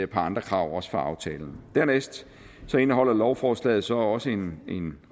par andre krav også fra aftalen dernæst indeholder lovforslaget så også en